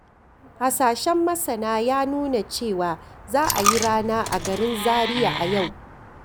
Hasashen masana ya nuna cewa za a yi rana a garin Zariya a yau